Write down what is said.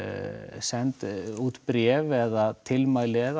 send út bréf eða tilmæli eða